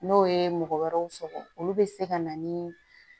N'o ye mɔgɔ wɛrɛw sɔgɔ olu bɛ se ka na ni